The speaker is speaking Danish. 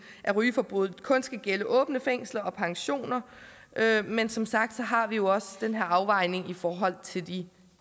af rygeforbuddet kun skal gælde åbne fængsler og pensioner men som sagt har vi også den her afvejning i forhold til de